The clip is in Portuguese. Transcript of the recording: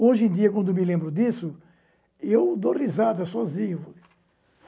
Hoje em dia, quando me lembro disso, eu dou risada sozinho.